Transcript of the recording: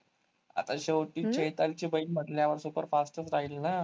आता शेवटी चैतालीची बहीण म्हंटल्यावर superfast च राहील ना?